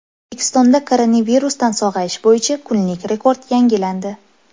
O‘zbekistonda koronavirusdan sog‘ayish bo‘yicha kunlik rekord yangilandi.